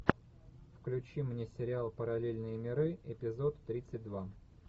включи мне сериал параллельные миры эпизод тридцать два